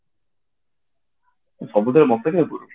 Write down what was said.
ତୁ ସବୁଥିରେ ମତେ କାଇଁ କରୁଛୁ